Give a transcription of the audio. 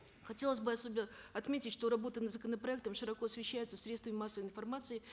хотелось бы особенно отметить что работа над законопроектом широко освещается средствами массовой информации